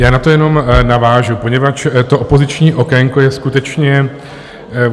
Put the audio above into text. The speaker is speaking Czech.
Já na to jenom navážu, poněvadž to opoziční okénko je skutečně...